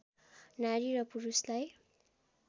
नारी र पुरुषलाई